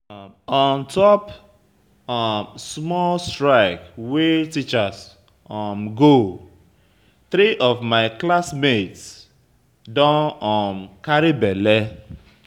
On top um small strike wey teachers um go three of my classmates don um carry bele.